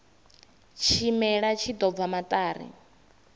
tshimela tshi ḓo bva maṱari